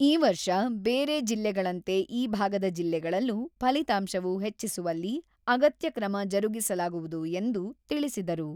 ಈ ವರ್ಷ ಬೇರೆ ಜಿಲ್ಲೆಗಳಂತೆ ಈ ಭಾಗದ ಜಿಲ್ಲೆಗಳಲ್ಲೂ ಫಲಿತಾಂಶವೂ ಹೆಚ್ಚಿಸುವಲ್ಲಿ ಅಗತ್ಯ ಕ್ರಮ ಜರುಗಿಸಲಾಗುವುದು ಎಂದು ತಿಳಿಸಿದರು.